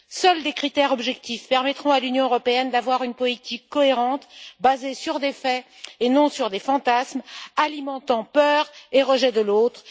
Seuls des critères objectifs permettront à l'Union européenne d'avoir une politique cohérente basée sur des faits et non sur des fantasmes qui alimentent la peur et le rejet de l'autre.